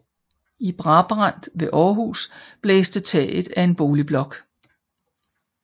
I Brabrand ved Århus blæste taget af en boligblok